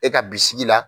E ka bisigi la